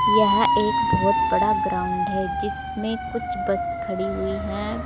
यह एक बहुत बड़ा ग्राउंड है जिसमें कुछ बस खड़ी हुई हैं।